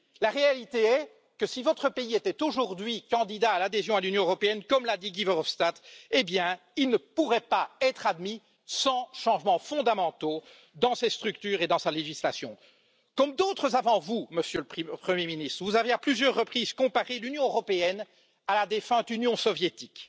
La réalité est que si votre pays était aujourd'hui candidat à l'adhésion à l'UE, comme l'a dit Guy Verhofstadt, il ne pourrait pas être admis sans changements fondamentaux dans ses structures et dans sa législation. Comme d'autres avant vous, Monsieur le Premier ministre, vous avez à plusieurs reprises comparé l'Union européenne à la défunte Union soviétique.